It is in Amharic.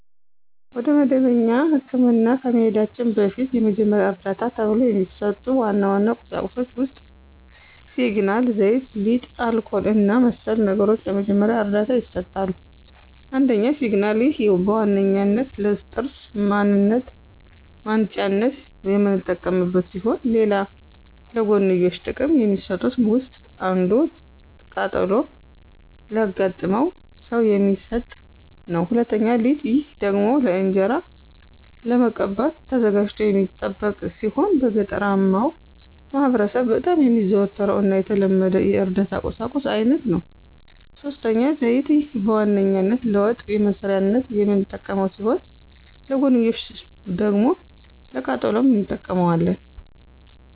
ወደ መደበኛ ህክምና ከመሂዳችን በፊት የመጀመሪያ ዕርዳታ ተብሎው ከሚሰጡ ዋና ዋና ቁሳቁሶች ውስጥ ሲግናል፣ ዘይት፣ ሊጥ፣ አልኮል እና መሰል ነገሮች ለመጀመሪያ ዕርዳታ ይሰጣሉ። ፩) ሲግናል፦ ይህ በዋነኛነት ለጥርስ ማንጫነት የምንጠቀምበት ሲሆን ሌላ ለጎንዮሽ ጥቅም ከሚሰጡት ውስጥ አንዱ ቃጠሎ ላጋጠመው ሰው የሚሰጥ ነው። ፪) ሊጥ፦ ይህ ደግሞ ለእንጅራ ለመቀባት ተዘጋጅቶ የሚጠብቅ ሲሆን በገጠራማው ማህበረሰብ በጣም የሚዘወተር እና የተለመደ የእርዳታ ቁሳቁስ አይነት ነው። ፫) ዘይት፦ ይህ በዋነኛነት ለወጥ መስሪያነት የምንጠቀመው ሲሆን ለጎንዮሽ ደግሞ ለቃጠሎም እንጠቀመዋለን።